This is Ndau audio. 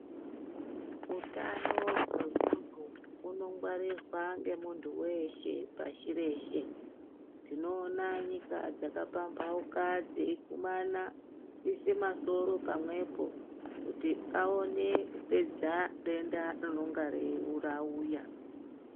Utano hwemuntu hunongwarirwa ngemuntu weshe pashi reshe. Tinoona nyika dzakapamhauka dzeigxubana kuiise masoro pamwepo kuti aone kupedza denda rinenge rauya.